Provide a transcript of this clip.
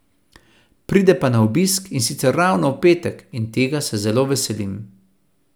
Pride pa na obisk, in sicer ravno v petek, in tega se zelo veselim.